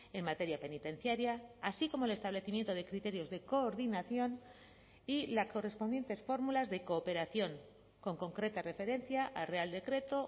en materia penitenciaria así como el establecimiento de criterios de coordinación y la correspondientes fórmulas de cooperación con concreta referencia al real decreto